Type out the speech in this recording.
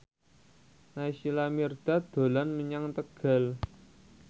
Naysila Mirdad dolan menyang Tegal